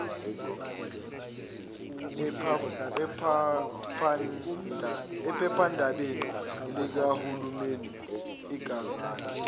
ephephandabeni likahulumeni igazette